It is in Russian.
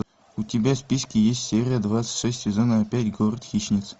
у тебя в списке есть серия двадцать шесть сезона пять город хищниц